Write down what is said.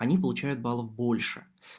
они получают баллов больше